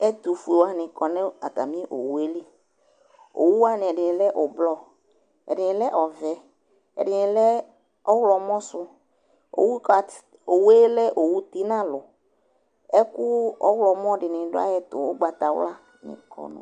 ɛtufuewanɩ dʊ atami owu yɛ li, owuwanɩ ɛdɩnɩ lɛ avavlitsɛ, ɛdɩnɩ lɛ ɔvɛ, ɛdɩnɩ lɛ ɔwlɔmɔ, owuwa lɛ owu ti nʊ alʊ, ɛkʊ ɔwlɔmɔ dɩnɩ dʊ ayɛtʊ nʊ ugbatawla